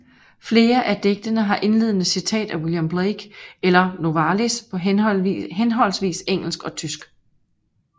Flere af digtene har indledende citat af William Blake eller Novalis på henholdsvis engelsk og tysk